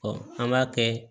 an b'a kɛ